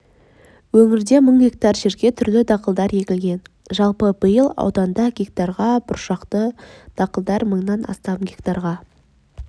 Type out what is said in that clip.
өңірде мың гектар жерге түрлі дақылдар егілген жалпы биыл ауданда гектарға бұршақты дақылдар мыңнан астам гектарға